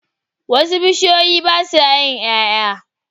Wasu bishiyoyi basa yin yaya